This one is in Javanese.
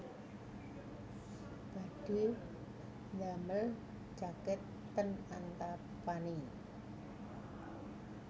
Badhe ndamel jaket ten Antapani